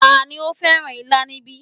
Tani ó fẹ́ràn ilá níbí